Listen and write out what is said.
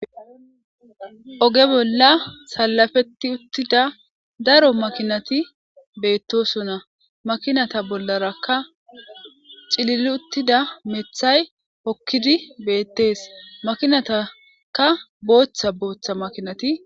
oge bolla salafetti uttida daro makinati beettosona makinata bollarakka cilil uttida methay hokkidi beettees makinatakka booththa booththa makinati